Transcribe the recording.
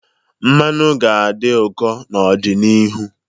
Mmanụ ga-adị ụkọ n'ọdịnihu.